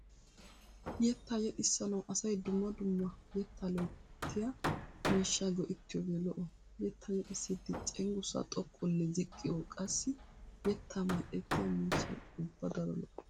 Yettaa yexxissanawu asay dumma dumma yettaa loyttiya miishshaa go'ettiyooge lo'o. Yettaa yexxissiiddi cenggurssaa xoqqunne ziqqi qassi yettaa mal"ettiya miishshay ubba daro lo'o.